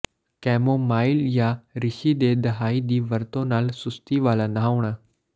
chamomile ਜਾਂ ਰਿਸ਼ੀ ਦੇ ਦਹਾਈ ਦੀ ਵਰਤੋਂ ਨਾਲ ਸੁਸਤੀ ਵਾਲਾ ਨਹਾਉਣਾ